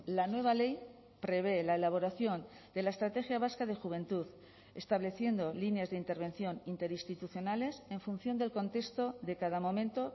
la nueva ley prevé la elaboración de la estrategia vasca de juventud estableciendo líneas de intervención interinstitucionales en función del contexto de cada momento